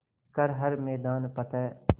कर हर मैदान फ़तेह